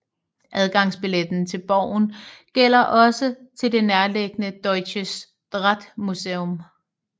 Adgangsbilletten til borgen gælder også til det nærliggende Deutsches Drahtmuseum